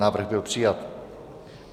Návrh byl přijat.